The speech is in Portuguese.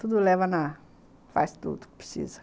Tudo leva na... faz tudo o que precisa.